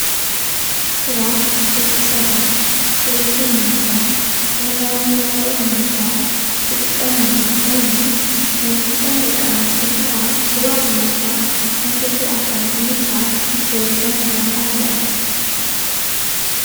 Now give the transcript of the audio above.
ስራሕ ደቂ ሰባት ሂወቶም ንምምራሕ ዕለታዊ ናብረኦም ንምንባር ዝጥቀሙሉ ኮይኑ፣ መብዛሕትኤን ደቂ ኣንስትዮ ከዓ ስዋ ብምፅሟቕ ከም ፍልፍል ኣታዊ ብምርካብ ሂወተን ክመርሓ ይረኣያ፡፡